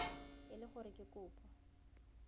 e le gore ke kopo